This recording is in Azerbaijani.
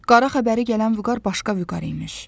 Qara xəbəri gələn Vüqar başqa Vüqar imiş.